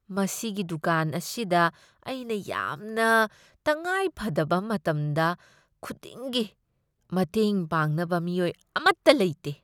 ꯃꯁꯤꯒꯤ ꯗꯨꯀꯥꯟ ꯑꯁꯤꯗ ꯑꯩꯅ ꯌꯥꯝꯅ ꯇꯉꯥꯏꯐꯗꯕ ꯃꯇꯝꯗ ꯈꯨꯗꯤꯡꯒꯤ ꯃꯇꯦꯡ ꯄꯥꯡꯅꯕ ꯃꯤꯑꯣꯏ ꯑꯃꯠꯇ ꯂꯩꯇꯦ꯫